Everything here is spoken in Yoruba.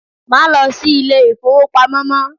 Má lo si Ilé-ìfowópamọ́ mó